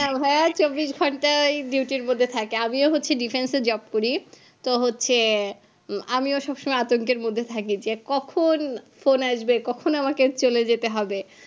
না ভাইয়া চব্বিশ ঘন্টা ওই duty র মধ্যে থাকে আমিও হচ্ছে defence এ job করি তো হচ্ছে আমিও সবসময় আতঙ্কের মধ্যে যে কখন phone আসবে কখন আমাকে চলে যেতে হবে